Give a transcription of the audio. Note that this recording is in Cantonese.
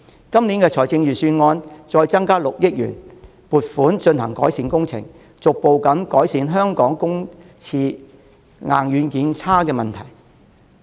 今年財政預算案再撥出6億元進行翻新工程，務求逐步改善香港公廁硬、軟件差的問題。